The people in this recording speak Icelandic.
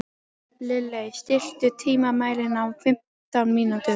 Lilley, stilltu tímamælinn á fimmtán mínútur.